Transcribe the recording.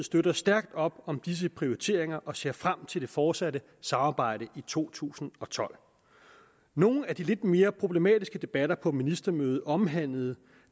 støtter stærkt op om disse prioriteringer og ser frem til det fortsatte samarbejde i to tusind og tolv nogle af de lidt mere problematiske debatter på ministermødet omhandlede